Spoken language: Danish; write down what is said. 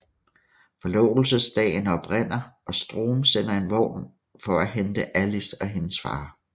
Forlovelsesdagen oprinder og Strom sender en vogn for at hente Alice og hendes far